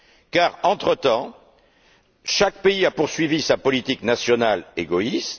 Car, entre temps, chaque pays a poursuivi sa politique nationale égoïste.